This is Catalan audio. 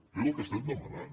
és el que estem demanant